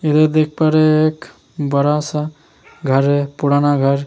इधर देख पा रहा है एक बड़ा सा घर है पुराना घर ।